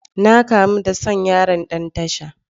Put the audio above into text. Na kamu da son yaron Dan tasha.